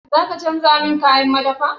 Za ka canja min kayan madafa?